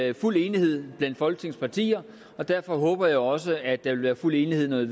i fuld enighed blandt folketingets partier derfor håber jeg også at der vil være fuld enighed